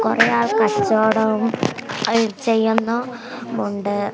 കുറെ ആള് കച്ചവടവും ആ ചെയ്യുന്നു ഉണ്ട്.